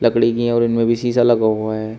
खिड़की है और इनमें भी शीशा लगा हुआ है।